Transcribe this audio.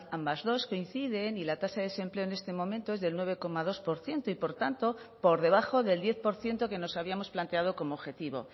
ambas dos coinciden y la tasa de desempleo en este momento es del nueve coma dos por ciento y por tanto por debajo del diez por ciento que nos habíamos planteado como objetivo